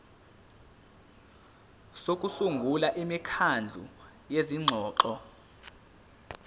sokusungula imikhandlu yezingxoxo